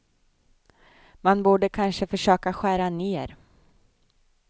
Man borde kanske försöka skära ner.